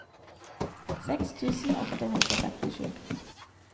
seks tusen åtte hundre og femtisju